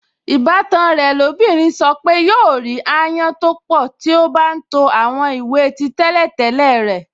Ìbátan rẹ̀ lóbìnrin sọ pé yóò rí ááyán tó pọ̀ tí ó bá ń to àwọn ìwé tí tẹ́lẹ̀tẹ́lẹ̀ rẹ̀